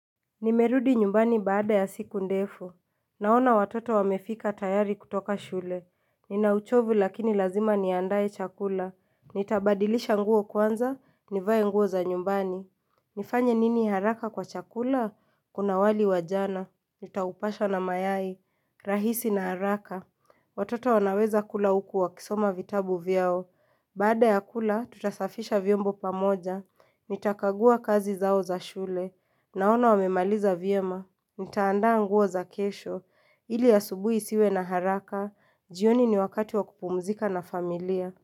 Nimerudi nyumbani baada ya siku ndefu Naona watoto wamefika tayari kutoka shule Ninauchovu lakini lazima niandae chakula Nitabadilisha nguo kwanza, nivae nguo za nyumbani nifanya nini haraka kwa chakula, kuna wali wajana Nitaupasha na mayai, rahisi na haraka Watoto wanaweza kula uku wa kisoma vitabu vyao Baada ya kula, tutasafisha vyombo pamoja Nitakagua kazi zao za shule Naona wamemaliza vyema, nitaandaa nguo za kesho, ili a subui isiwe na haraka, jioni ni wakati wakupumzika na familia.